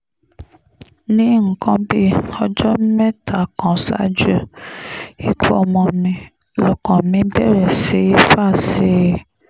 ní nǹkan bíi ọjọ́ mẹ́ta kan ṣáájú ikú ọmọ mi lọ́kàn mi bẹ̀rẹ̀ sí í fà sí i